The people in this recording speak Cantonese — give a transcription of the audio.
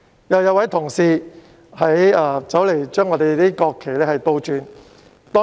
有一位議員走過來，將我們的國旗倒插。